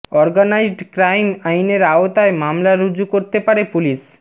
organised crime আইনের আওতায় মামলা রুজু করতে পারে পুলিশ